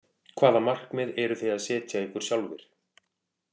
Hvaða markmið eruð þið að setja ykkur sjálfir?